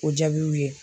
O jaabiw ye